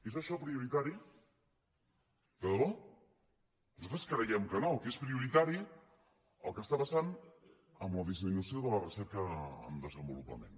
és això prioritari de de bò nosaltres creiem que no que és prioritari el que està passant amb la disminució de la recerca en desenvolupament